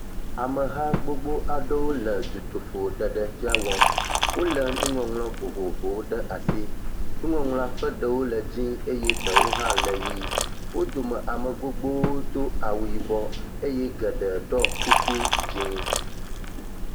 Ameha gbogbo aɖewo le dutoƒo ɖeɖefia wɔm. Wolé nuŋɔŋlɔ vovovowo ɖe asi. Nuŋɔŋlɔ ƒe ɖewo le dzĩ eye ɖewo hã le ʋie. Wo dome ame gbogbowo do awu yibɔ eye geɖe ɖɔ kuku dzĩ.